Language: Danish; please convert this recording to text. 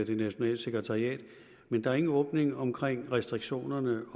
det nationale sekretariat men der er ingen åbning omkring restriktionerne